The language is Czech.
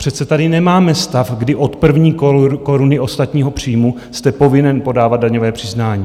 Přece tady nemáme stav, kdy od první koruny ostatního příjmu jste povinen podávat daňové přiznání.